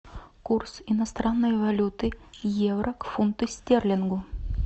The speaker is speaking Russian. курс иностранной валюты евро к фунту стерлингу